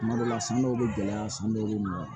Tuma dɔw la san dɔw be gɛlɛya san dɔw be nɔgɔya